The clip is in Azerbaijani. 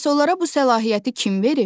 Bəs onlara bu səlahiyyəti kim verir?